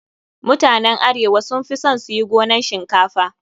Mutanen arewa sun fi son su yi gonan shinkafa.